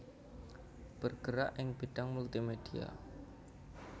bergerak ing bidang Multimedia